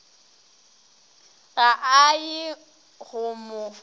ga a ye go mo